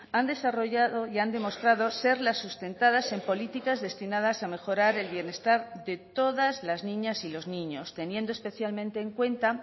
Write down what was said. han desarrollado y han demostrado ser las sustentadas en políticas destinadas a mejorar el bienestar de todas las niñas y los niños teniendo especialmente en cuenta